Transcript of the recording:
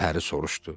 Pəri soruşdu.